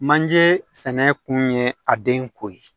Manje sɛnɛ kun ye a den ko ye